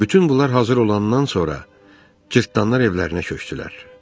Bütün bunlar hazır olandan sonra cırtdanlar evlərinə köçdülər.